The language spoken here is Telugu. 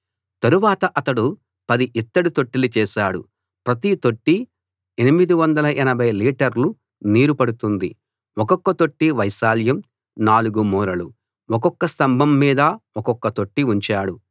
తరువాత అతడు 10 ఇత్తడి తొట్టెలు చేశాడు ప్రతి తొట్టి 880 లీటర్లు నీరు పడుతుంది ఒక్కొక్క తొట్టి వైశాల్యం 4 మూరలు ఒక్కొక్క స్తంభం మీద ఒక్కొక్క తొట్టి ఉంచాడు